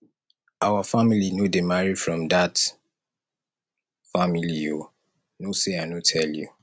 our family no dey marry from dat family o no sey i no tell you